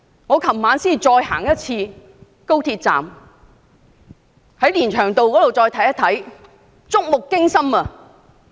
我昨晚再次視察高鐵站連翔道一段的情況，觸目驚心。